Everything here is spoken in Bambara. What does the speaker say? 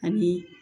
A bi